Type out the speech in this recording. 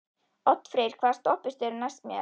Oddfreyr, hvaða stoppistöð er næst mér?